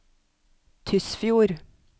Tysfjord